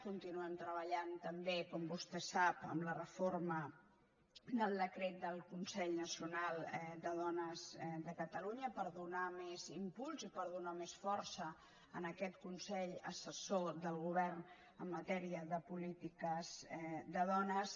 continuem treballant també com vostè sap en la reforma del decret del consell nacional de dones de catalunya per donar més impuls i per donar més força a aquest consell assessor del govern en matèria de polítiques de dones